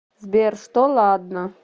сбер что ладно